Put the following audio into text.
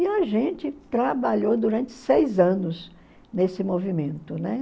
E a gente trabalhou durante seis anos nesse movimento, né?